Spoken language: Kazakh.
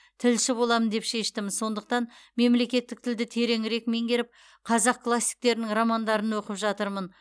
тілші болам деп шештім сондықтан мемлекеттік тілді тереңірек меңгеріп қазақ классиктерінің романдарын оқып жатырмын